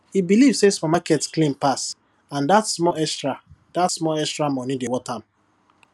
e believe say supermarket clean pass and that small extra that small extra money dey worth am